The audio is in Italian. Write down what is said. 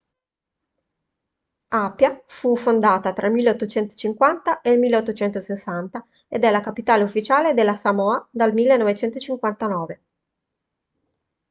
apia fu fondata tra il 1850 e il 1860 ed è la capitale ufficiale delle samoa dal 1959